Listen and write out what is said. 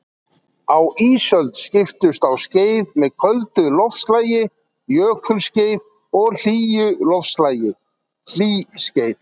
Á ísöld skiptust á skeið með köldu loftslagi, jökulskeið, og hlýju loftslagi, hlýskeið.